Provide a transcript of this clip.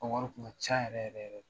U ka wari kun ka ca yɛrɛ yɛrɛ yɛrɛ de .